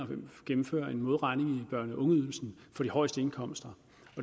gennemfører en modregning i børne og ungeydelsen for de højeste indkomster